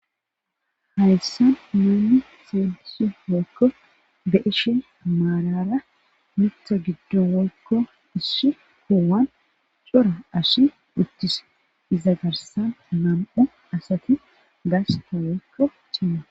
hayssan miuli seeliso woykko be ishin maalara mitha giddu woykko issi huwan cora ashi uttise iza garsan nam7o asati gasta woykko chima